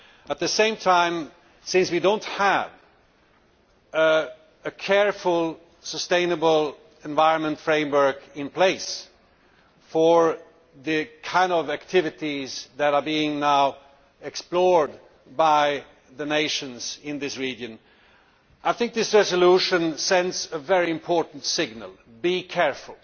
At the same time, since we do not have a careful, sustainable environment framework in place for the kind of activities that are now being explored by the nations in this region, I think this resolution sends a very important signal be careful.